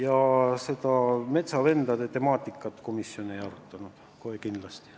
Aga metsavendade temaatikat komisjon ei arutanud kohe kindlasti.